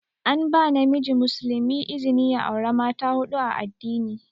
An ba namiji muslimi izni ya aura mata huɗu a addini.